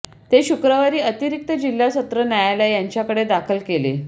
ते शुक्रवारी अतिरिक्त जिल्हा सत्र न्यायालय यांच्याकडे दाखल केले